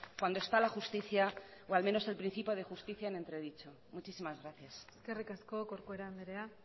cuando está la justicia o al menos el principio de justicia en entredicho muchísimas gracias eskerrik asko corcuera andrea